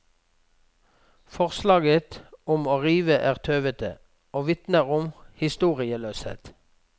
Forslaget om å rive er tøvete og vitner om historieløshet.